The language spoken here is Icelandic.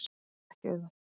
Það er ekki auðvelt.